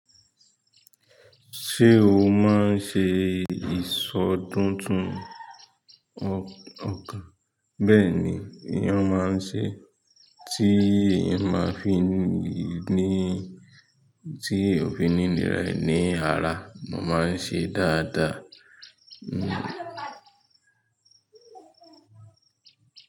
Ṣé o máa ń ṣe ìsọdún tún ọkàn? Bẹ́ẹ̀ni, eyán máa ń ṣe, tí èyàn máa fi n ní, tí èèyàn ò fi ní nìra e ni ara, mo máa ń ṣe dáadáa. Hmm.